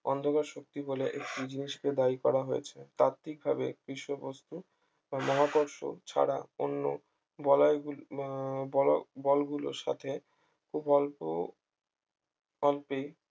অন্ধকার শক্তি বলে একটি জিনিস কে দায়ী করা হয়েছে তাত্ত্বিকভাবে কৃষ্ণবস্তু ও মহাকর্ষ ছাড়া অন্য বলয় গুলি আহ বল গুলোর সাথে খুব অল্প অল্পেই